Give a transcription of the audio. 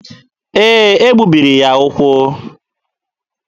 Ee, e gbubiri ya ụkwụ.